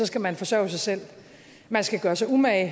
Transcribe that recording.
skal man forsørge sig selv man skal gøre sig umage